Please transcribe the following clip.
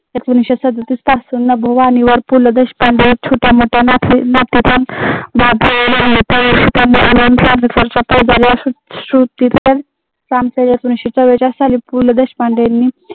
एकोणविसशे सदोतीस पासून पु ल देशपांडे छोट्या मोठ्या पु ल देशपांडे यांनी